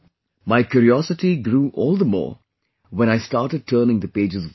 My curiosity grew all the more when I started turning the pages of the book